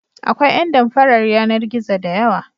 Akwai ƴan damfarar yanar-gizo da yawa.